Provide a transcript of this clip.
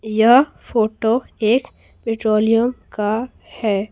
यह फोटो एक पेट्रोलियम का है।